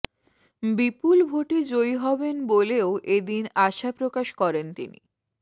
বিপুল ভোটে জয়ী হবেন বলেও এদিন আশা প্রকাশ করেন তিনি